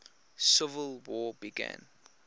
civil war began